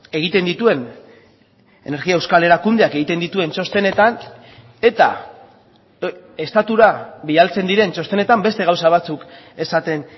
egiten dituen energia euskal erakundeak egiten dituen txostenetan eta estatura bidaltzen diren txostenetan beste gauza batzuk esaten